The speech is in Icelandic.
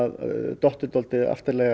dottið dálítið